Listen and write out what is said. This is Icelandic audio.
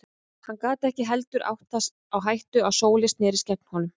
Hann gat ekki heldur átt það á hættu að Sóley snerist gegn honum.